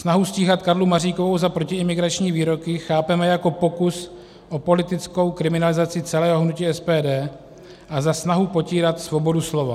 Snahu stíhat Karlu Maříkovou za protiimigrační výroky chápeme jako pokus o politickou kriminalizaci celého hnutí SPD a za snahu potírat svobodu slova.